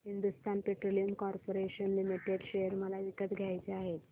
Hindustan petroleum corporation limited share मला विकत घ्यायचे आहेत